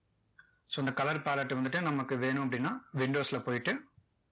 so இந்த colour palette வந்துட்டு நமக்கு வேணும் அப்படின்னா windows ல போயிட்டு